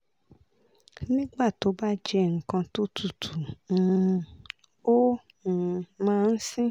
nígbà tó bá jẹ́ nkan tó tutù um ó um máa ń sin